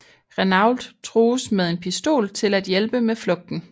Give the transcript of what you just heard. Renault trues med en pistol til at hjælpe med flugten